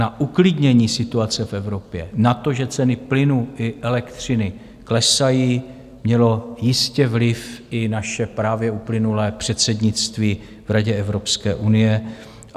Na uklidnění situace v Evropě, na to, že ceny plynu i elektřiny klesají, mělo jistě vliv i naše právě uplynulé předsednictví v Radě Evropské unie.